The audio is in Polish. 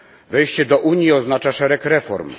Wejście do Unii oznacza szereg reform.